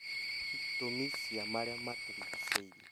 Itũmi cia marĩa matũrigicĩirie